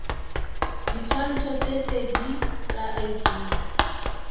ditshwantsho tse pedi tsa id